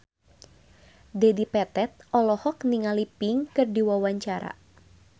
Dedi Petet olohok ningali Pink keur diwawancara